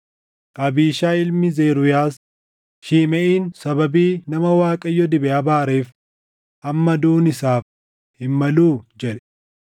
Abiishaayi ilmi Zeruuyaas, “Shimeʼiin sababii nama Waaqayyo dibe abaareef amma duʼuun isaaf hin maluu?” jedhe.